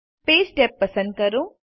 page tab પસંદ કરો